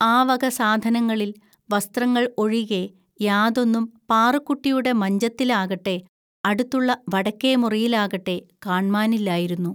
ആവക സാധനങ്ങളിൽ വസ്ത്രങ്ങൾ ഒഴികെ യാതൊന്നും പാറുക്കുട്ടിയുടെ മഞ്ചത്തിലാകട്ടെ അടുത്തുള്ള വടക്കേമുറിയിലാകട്ടെ കാണ്മാനില്ലായിരുന്നു